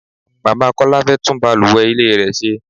Bàbá Kọ́lá fẹ́ tún bàlùwẹ̀ ilé rẹ ṣe.